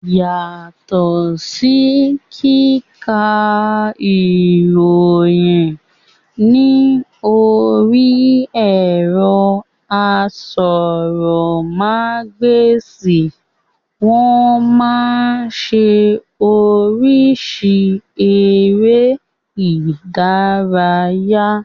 Yàtọ̀ sí kíka ìròyìn ní orí ẹ̀rọ asọ̀rọ̀ ma gba èsì, wọ́n máa ń ṣe oríṣìíríṣìí eré ìdárayá